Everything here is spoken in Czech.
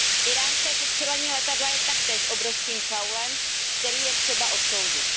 Íránské sestřelení letadla je taktéž obrovským faulem, který je třeba odsoudit.